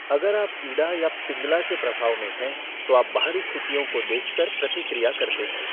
अगर आप इड़ा या पिंगला के प्रभाव में हैं तो आप बाहरी स्थितियों को देखकर प्रतिक्रिया करते हैं।